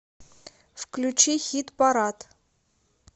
включи хит парад